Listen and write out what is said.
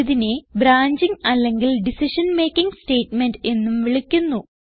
ഇതിനെ ബ്രാഞ്ചിംഗ് അല്ലെങ്കിൽ decision making statement എന്നും വിളിക്കുന്നു